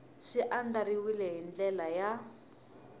swi andlariwile hi ndlela ya